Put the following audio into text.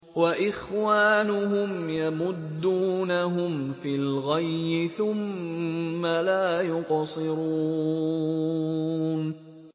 وَإِخْوَانُهُمْ يَمُدُّونَهُمْ فِي الْغَيِّ ثُمَّ لَا يُقْصِرُونَ